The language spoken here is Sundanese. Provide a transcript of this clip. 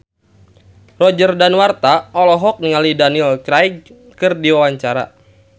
Roger Danuarta olohok ningali Daniel Craig keur diwawancara